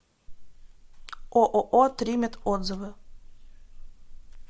ооо тримет отзывы